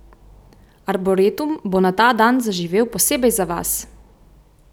Arboretum bo na ta dan zaživel posebej za vas!